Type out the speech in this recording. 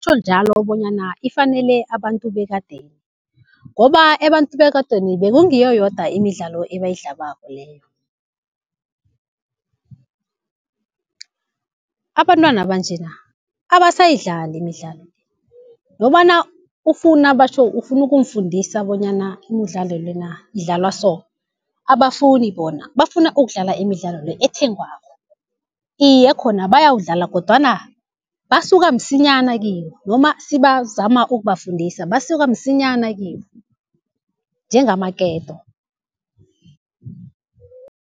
Kutjho njalo bonyana ifanele abantu bekadeni ngoba abantu bekadeni bekungiyo yodwa imidlalo ebayidlabako leyo. Abantwana banjena abasayidlali imidlalo le, nobana ufuna batjho ufuna ukumfundisa bonyana imidlalo lena idlalwa so abafuni bona, bafuna ukudlala imidlalo le ethengwako. Iye khona bayawudlala kodwana basuka msinyana kiyo noma sibazama ukubafundisa basuka msinyana kiyo njengamaketo.